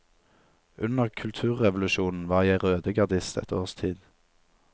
Under kulturrevolusjonen var jeg rødegardist et års tid.